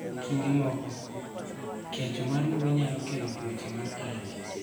Kinde moko, kecho mar mbui nyalo kelo tuoche mar allergy.